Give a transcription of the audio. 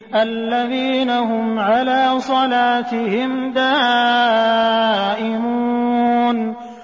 الَّذِينَ هُمْ عَلَىٰ صَلَاتِهِمْ دَائِمُونَ